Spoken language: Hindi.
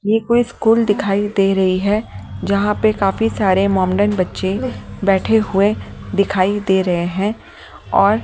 ये कोई स्कूल दिखाई दे रही है जहां पे काफी सारे मोमेडियन् बच्चे बैठे हुए दिखाई दे रहे हैं और --